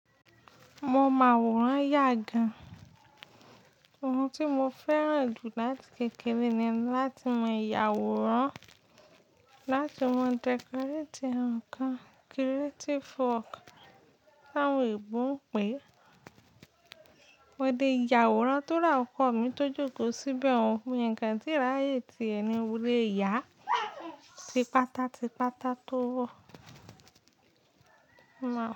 Mo mán awòran yà gan. Ohun tí mo fẹ́ràn jù láti kékeré ni láti mọ ìyàwòrán, láti mọ decorate nǹkan creative work. Láwon-oyìbọ n pè, mo dé yàwòrán tó ra ọkọ̀ mi tó jókòó síbẹ̀ ohun mi kan tíráyé tí ẹni wọlé yà ti páta ti páta tó wọ̀. Mo máa.